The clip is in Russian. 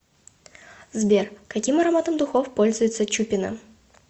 сбер каким ароматом духов пользуется чупина